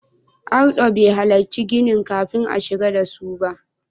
Ardo bai halarci ginin kafin a shigar da su ba.